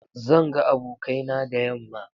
Zan ga abokaina da yamma.